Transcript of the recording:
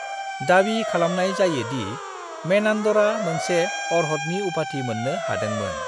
दाबि खालामनाय जायो दि मेनान्डरा मोनसे अर्हतनि उपाधि मोन्नो हादोंमोन।